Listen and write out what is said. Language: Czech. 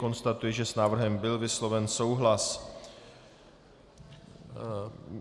Konstatuji, že s návrhem byl vysloven souhlas.